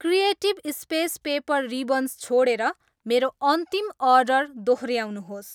Creative space paper ribbons छोडेर मेरो अन्तिम अर्डर दोहोऱ्याउनुहोस्।